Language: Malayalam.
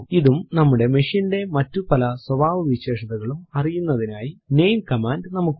ഇതും നമ്മുടെ machine ന്റെ മറ്റു പല സ്വഭാവവിശേഷതകളും അറിയുന്നതിനായി നാമെ കമാൻഡ് നമുക്കുണ്ട്